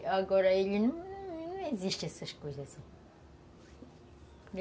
E agora ele não... não existe essas coisas, assim